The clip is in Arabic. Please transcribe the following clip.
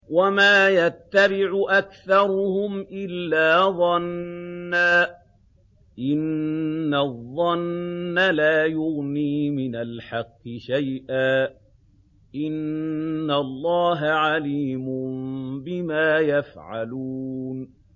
وَمَا يَتَّبِعُ أَكْثَرُهُمْ إِلَّا ظَنًّا ۚ إِنَّ الظَّنَّ لَا يُغْنِي مِنَ الْحَقِّ شَيْئًا ۚ إِنَّ اللَّهَ عَلِيمٌ بِمَا يَفْعَلُونَ